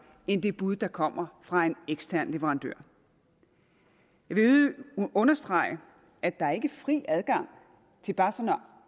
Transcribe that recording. end det bud der kommer fra en ekstern leverandør jeg vil understrege at der ikke er fri adgang til bare sådan at